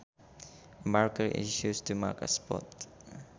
A marker is used to mark a spot